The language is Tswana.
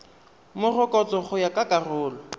morokotso go ya ka karolo